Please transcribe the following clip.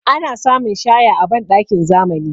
Ana samun shaya a banɗakin zamani.